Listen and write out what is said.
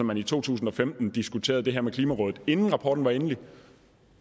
man i to tusind og femten diskuterede det her med klimarådet inden rapporten var endelig